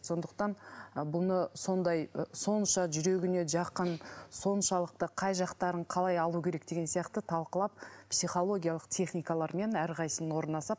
сондықтан бұны сондай сонша жүрегіне жақын соншалықты қай жақтарын қалай алу керек деген сияқты талқылап психологиялық техникалармен әрқайсысын орнына салып